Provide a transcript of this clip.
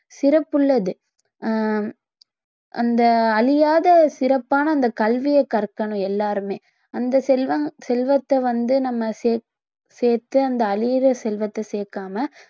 சிறப்புள்ளது ஹம் அந்த அழியாத சிறப்பான அந்த கல்வியை கற்கணும் எல்லாருமே அந்த செல்வம்~ செல்வத்தை வந்து நம்ம சேத்~ சேர்த்து அந்த அழியிற செல்வத்தை சேர்க்காம